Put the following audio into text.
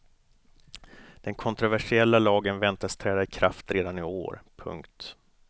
Den kontroversiella lagen väntas träda i kraft redan i år. punkt